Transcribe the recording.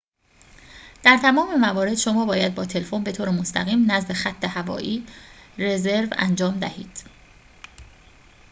در تمام موارد شما باید با تلفن بطور مستقیم نزد خط هوایی رزرو انجام دهید